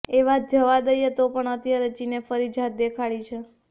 એ વાત જવા દઈએ તો પણ અત્યારે ચીને ફરી જાત દેખાડી છે